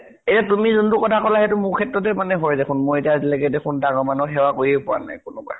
এ তুমি যোনটো কথা কলা সেইটো মোৰ ক্ষেত্ৰতে হয় দেখুন। মই এতিয়ালৈকে দেখুন ডাঙৰ মানুহক সেৱা কৰিয়ে পোৱা নাই কোনোবাৰ।